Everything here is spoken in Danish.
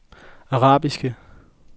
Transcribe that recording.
arabiske